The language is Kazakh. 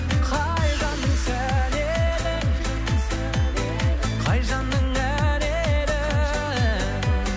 қай жанның сәні едің қай жанның әні едің